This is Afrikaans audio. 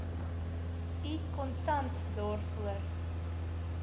u kontant daarvoor